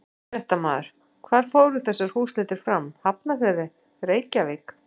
Fréttamaður: Hvar fóru þessar húsleitir fram, Hafnarfirði, Reykjavík?